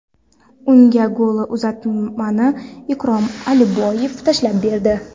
Unga golli uzatmani Ikrom Aliboyev tashlab berdi.